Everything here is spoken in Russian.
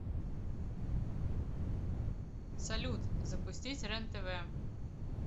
салют запустить рен тв